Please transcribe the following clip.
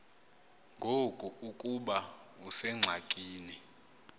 ngoku ukuba usengxakini